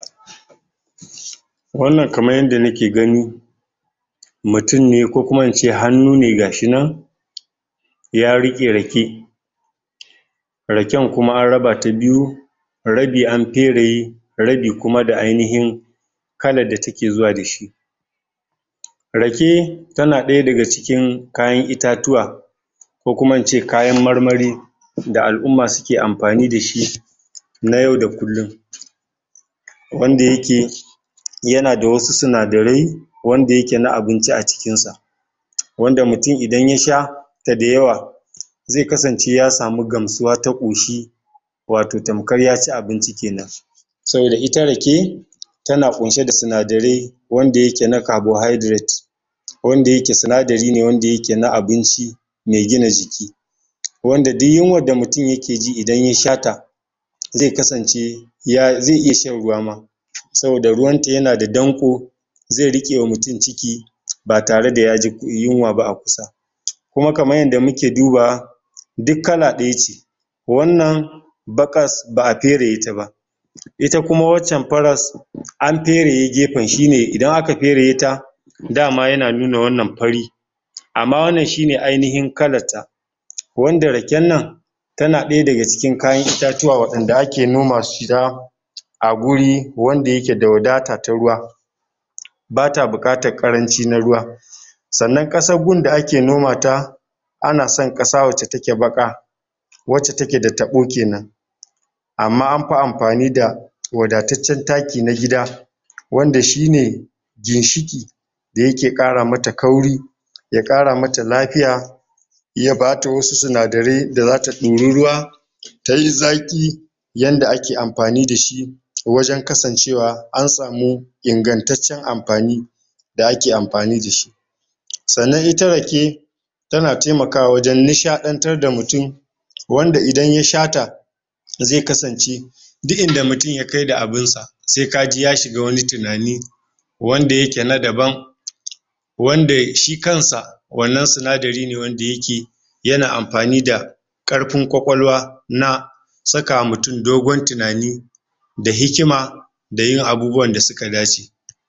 wannan kaman yanda nake gani mutum ne ko kuma in ce hannu ne gashi nan ya riƙe rake raken kuma na rabata biyu rabi an fere rabi kuma da ainihin kalar da take zuwa dashi rake tana daya daga cikin kayan itatuwa ko kuma in ce kayan marmari da al'uma suke amfani da shi na yau da kullun wanda yake yanada wasu sinadarai wanda yake na abinci a cikin sa wanda mutum idan ya sha sa dayawa zai kasance yasamu gamsuwa ta ƙoshi wato tamkar ya ci abinci kenan sannan ita rake tana ƙunshe da sinadarai wanda yake na carbonhydrate wanda yake sinadari wanda yake na abinci mai gina jiki wanda duk yunwan da mutum yake ji idan ya sha ta zai kasance zai iya shan ruwa ma saboda ruwan ta yanada danƙo zai riƙe wa mutum ciki ba tare da yaji yuwa ba a kusa kuma kaman yanda muke duba wa duk kala ɗaya ce wannan baƙas ba'a fere ta ba ita kuma waccan faras an fereye gefen shine idan aka fereye ta dama yana nuna wannan fari amma wannan shine ainihin kalan ta wanda raken nan tana ɗaya daga cikin kayan itatuwa wa ɗanda ake noma su sha a guri wanda yake da wadata ta ruwa bata buƙatar ƙaranci na ruwa sannan ƙasar gun da ake noma ta ana san ƙasa wacce take baƙa wacca take da taɓo kenan amma an fi amfani da wadacaccen taki na gida wanda shine zai shige da yake ƙara mata kauri ya ƙara mata lafiya ya bata wasu sinadarai da zata ɗori ruwa tayi zaƙi yanda ake amfani dashi wajen kasance wa an samu ingantaccen amfani da ake amfani da shi sannan ita rake tana taimakwa wajen nishaɗantar da mutum wanda idan ya sha ta zai kasance duk inda mutum ya kai da abun sa sai kaji ya shiga wani tunani wanda yake na daban wanda shi kansa wannan sinadari wanda yake yana amfani da ƙarfin kwakwalwa na sakawa mutum dogon tunani da hikima da yin abubuwan da suka dace